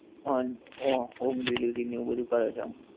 હા ઓ home delivery ને એવું બધું કરે છે આમ